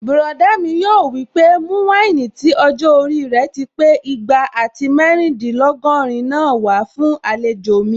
Bùrọ̀dá mi yóò wí pé "mú wáìnì tí ọjọ́-orí rẹ̀ ti pé igba àti mẹ́rìndínlógọ́rin náà wá fún àlejò mi"